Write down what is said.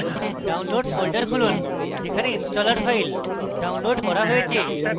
downloads folder খুলুন যেখানে installer file downloads করা হয়েছে